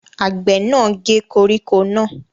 Àgbẹ̀ náà gé koríko náà?